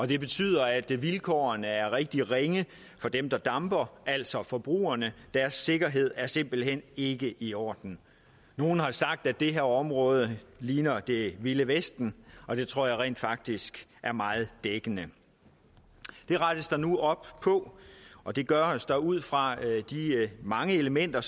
det betyder at vilkårene er rigtig ringe for dem der damper altså forbrugerne deres sikkerhed er simpelt hen ikke i orden nogle har sagt at det her område ligner det vilde vesten og det tror jeg rent faktisk er meget dækkende det rettes der nu op på og det gøres der ud fra de mange elementer